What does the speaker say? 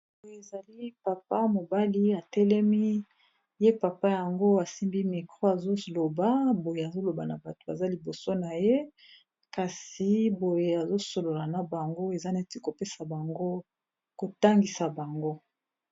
boye ezali papa mobali atelemi ye papa yango asimbi micro azoloba boye azoloba na bato baza liboso na ye kasi boye azosolola na bango eza neti kopesa bango kotangisa bango